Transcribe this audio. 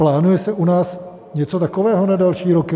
Plánuje se u nás něco takového na další roky?